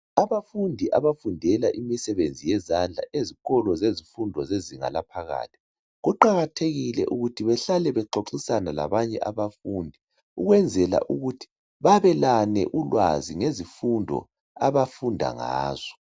Abafundi abafundela imisebenzi yezandla ezikolo zezifundo zezinga laphakathi, kuqakathekile ukuthi behlale bexoxisana labanye abafundi ukwenzela ukuthi babelane ulwazi ngezifundo abafunda ngazo.